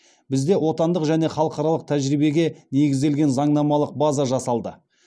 бізде отандық және халықаралық тәжірибеге негізделген заңнамалық база жасалды